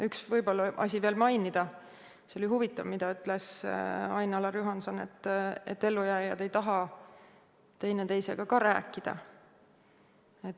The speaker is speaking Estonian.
Üks asi tuleb veel mainida: see oli huvitav, mida ütles Ain-Alar Juhanson, et ellujääjad ei taha üksteisega ka rääkida.